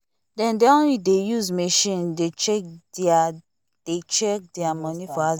they don dey use machine dey check thier dey check thier money for aza they say dem no wan looseguard